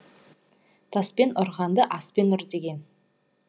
таспен ұрғанды аспен ұр деген